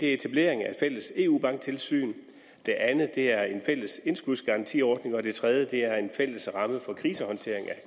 er etablering af et fælles eu banktilsyn det andet er en fælles indskudsgarantiordning og det tredje er en fælles ramme for krisehåndtering i